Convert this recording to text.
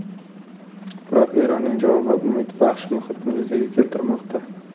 Biroq Eronning javobi umidbaxsh muhitni yuzaga keltirmoqda.